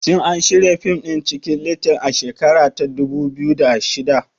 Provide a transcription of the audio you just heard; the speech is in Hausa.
Shin an shirya fim ɗin Cikin little a shekara ta dubu biyu da shida?